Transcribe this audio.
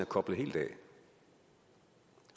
koblet helt af